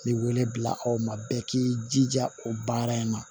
Ni wele bila aw ma bɛɛ k'i jija o baara in na